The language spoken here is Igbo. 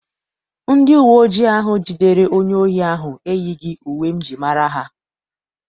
Ndị uwe ojii ahụ jidere onye ohi ahụ eyighị uwe m jiri mara ha.